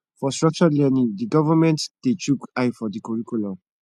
for structred learning di government dey chook eye for di curricullum